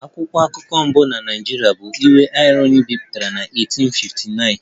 "Akwụkwọ akụkọ mbụ na Naịjirịa bụ ""Iwe Irohin"" bipụtara na 1859"